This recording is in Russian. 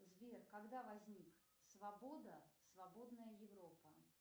сбер когда возник свобода свободная европа